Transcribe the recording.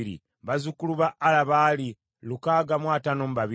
bazzukulu ba Ala baali lukaaga mu ataano mu babiri (652),